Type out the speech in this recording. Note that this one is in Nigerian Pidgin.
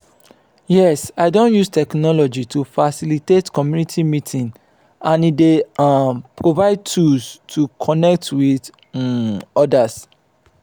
yes i don use technology to facilitate community meeting and e dey dey um provide tools to connect with um odas.